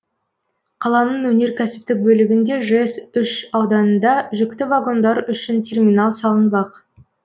қаланың өнеркәсіптік бөлігінде жэс үш ауданында жүкті вагондар үшін терминал салынбақ